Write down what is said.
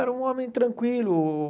Era um homem tranquilo.